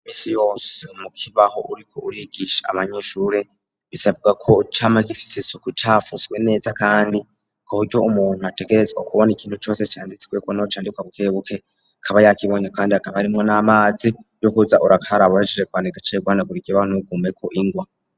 Iminsi yose mu kibaho uriko urigisha amanyeshure bisabwa ko camagifisi isuku cafuswe neza kandi kuburyo umuntu ategerezwa ukubona ikintu cose canditse candika bukebuke kaba yakibonye kandi akaba arimwo n'amazi yo kuza urakaraba uhejeje kwandika kukibaho ntikigumeko ingwa.